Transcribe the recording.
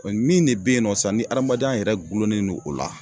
min ne be yen nɔ sa ni adamadenya yɛrɛ gulonen do o la